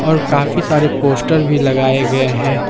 और काफी सारे पोस्टर भी लगाए गए हैं ।